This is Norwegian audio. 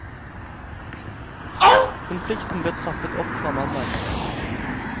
Konflikten blir trappet opp fra mandag.